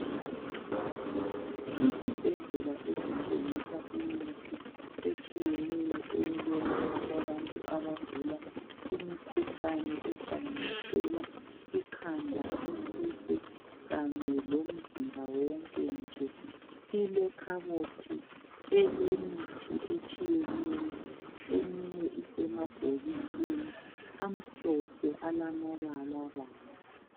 Isibhedlela esithengisa imithi etshiyeneyo eyokwelapha abantu abagula imikhuhlane ehlanganisela, ikhanda, isisu kanye lomzimba wonke nje. Ilekhabothi elemithi etshiyeneyo eminye isemabhokisini amhlophe alamabalabala.